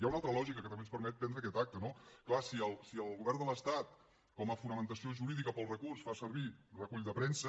hi ha una altra lògica que també ens permet prendre aquest acte no clar si el govern de l’estat com a fonamentació jurídica per al recurs fa servir recull de premsa